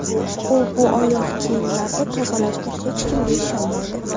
U bu oyoq kiyimlarini tozalashni hech kimga ishonmaydi.